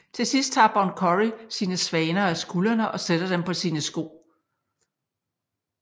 Til sidst tager Bon Curry sine svaner af skuldrene og sætter dem på sine sko